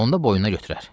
Onda boynuna götürər.